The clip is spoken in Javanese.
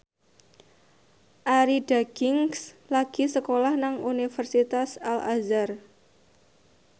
Arie Daginks lagi sekolah nang Universitas Al Azhar